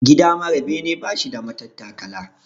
Gida mara bene bashi da matattakala.